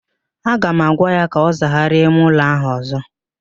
Aga m agwa ya ka ọ zagharịa ime ụlọ ahụ ọzọ!